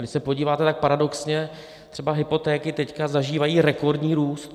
Když se podíváte, tak paradoxně třeba hypotéky teď zažívají rekordní růst.